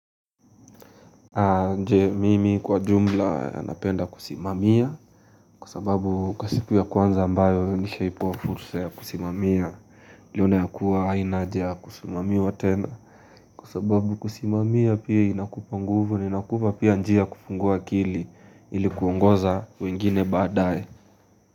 Nje mimi kwa jumla napenda kusimamia Kwasababu kwa siku ya kwanza ambayo nishaipewa fursa ya kusimamia niliona ya kuwa hainahaja ya kusimamiwa tena Kwa sababu kusimamia pia inakupa nguvu na inakupa pia njia kufungua akili ili kuongoza wengine baadaye.